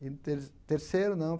E no ter terceiro, não.